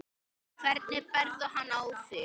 Hvernig berðu hann á þig?